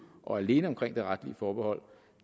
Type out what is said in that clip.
og alene omkring det retlige forbehold